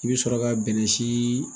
I bɛ sɔrɔ ka bɛnɛ sii